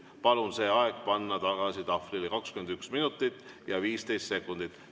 Palun see aeg panna tagasi tahvlile: 21 minutit ja 15 sekundit.